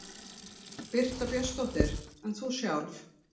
Birta Björnsdóttir: En þú sjálf?